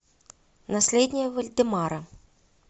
наследие вальдемара